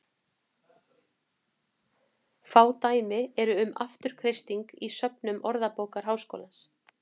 Fá dæmi eru um afturkreisting í söfnum Orðabókar Háskólans.